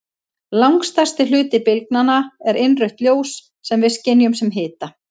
Langstærsti hluti bylgnanna er innrautt ljós sem við skynjum sem hita.